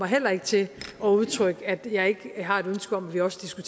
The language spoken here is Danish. heller ikke til at udtrykke at jeg ikke har et ønske om at vi også skal